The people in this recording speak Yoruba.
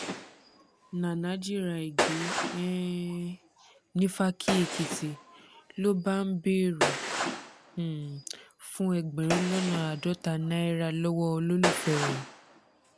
nana jìra ẹ̀ gbé um nífàkì-èkìtì ló bá ń bẹ̀rẹ̀ um fún ẹgbẹ̀rún lọ́nà àádọ́ta náírà lọ́wọ́ olólùfẹ́ rẹ̀